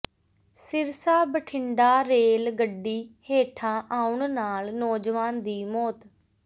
Sirsa Bathinda rail ਗੱਡੀ ਹੇਠਾਂ ਆਉਣ ਨਾਲ ਨੌਜਵਾਨ ਦੀ ਮੌਤ